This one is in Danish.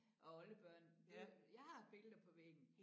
Og oldebørn det jeg har billeder på væggen